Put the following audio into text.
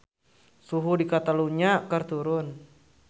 Suhu di Catalunya keur turun